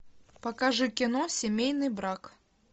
покажи кино семейный брак